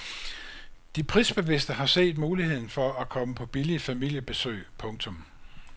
De prisbevidste har set muligheden for at komme på billige familiebesøg. punktum